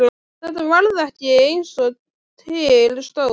Þetta varð ekki eins og til stóð.